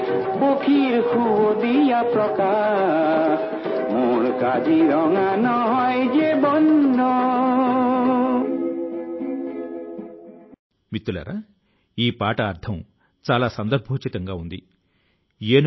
సహచరులారా ఒక చిన్న ప్రయత్నం ఒక చిన్న అడుగు కూడా మన ఘనమైనటువంటి కళ ల పరిరక్షణ లో చాలా పెద్ద తోడ్పాటు ను అందించగలదు